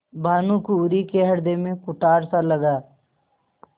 भानुकुँवरि के हृदय में कुठारसा लगा